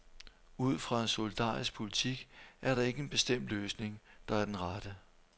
Ud fra en solidarisk politik er der ikke en bestemt løsning, der er den rette.